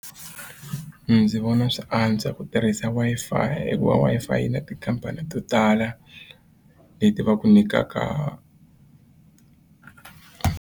Ndzi vona swi antswa ku tirhisa Wi-Fi i hikuva Wi-Fi yi na tikhampani to tala leti va ku nyikaka.